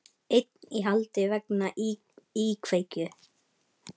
Einn í haldi vegna íkveikju